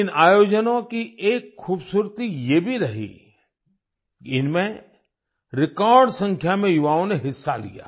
इन आयोजनों की एक खूबसूरती ये भी रही कि इनमें रेकॉर्ड संख्या में युवाओं ने हिस्सा लिया